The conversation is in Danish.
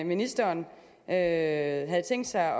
ministeren havde tænkt sig